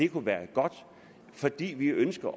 kunne være godt fordi vi ønsker